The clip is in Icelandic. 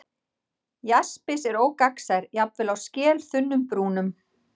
Jaspis er ógagnsær, jafnvel á skelþunnum brúnum.